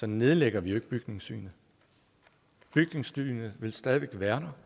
nedlægger bygningssynet bygningssynet vil stadig væk være